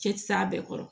Cɛ ti s'a bɛɛ kɔrɔ